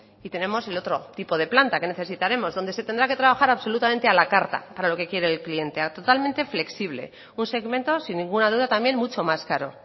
y tenemos el otro tipo de planta que necesitaremos donde se tendrá que trabajar absolutamente a la carta para lo que quiere el cliente totalmente flexible un segmento sin ninguna duda también mucho más caro